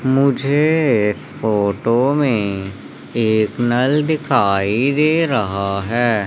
मुझे फोटो में एक नल दिखाई दे रहा है।